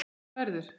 Hvað verður?